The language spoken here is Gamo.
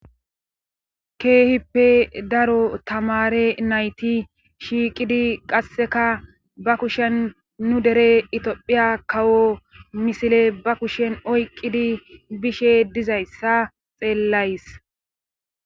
Keehippe daro tamare nayti shiiqidi qasseka ba kushen nu dere itiophiya kawo misile ba kushen oyqqidi bishe dizayssa xeellays.